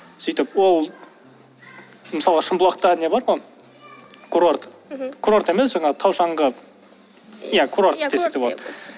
сөйтіп ол мысалы шымбұлақта не бар ғой курорт мхм курорт емес жаңа тау шаңғы иә курорт десек те болады